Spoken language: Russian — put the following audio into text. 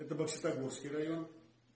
это бокситогорский район